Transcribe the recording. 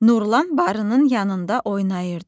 Nurlan barının yanında oynayırdı.